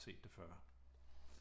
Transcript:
Set det før